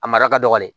A mara ka dɔgɔn ne